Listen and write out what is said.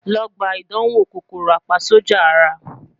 Lọ gba idanwo KòkòròApaSójà Ara